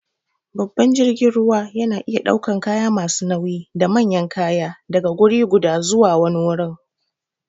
Babban jirgin ruwa yana iya ɗaukan kaya masu nauyi da manyan kaya daga wuriguda zuwa zuwa wani wurin.